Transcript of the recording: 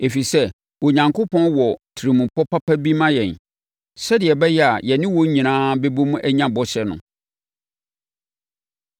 ɛfiri sɛ, Onyankopɔn wɔ tirimupɔ papa bi ma yɛn, sɛdeɛ ɛbɛyɛ a yɛne wɔn nyinaa bɛbom anya bɔhyɛ no.